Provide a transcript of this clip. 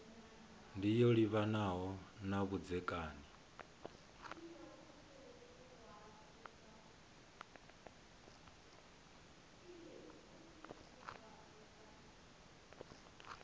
ndi yo livhanaho na vhudzekani